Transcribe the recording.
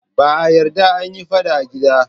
Ba a yarda a yi fada a gida.